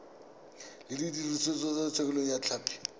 se dirisitswe thekontle ya tlhapi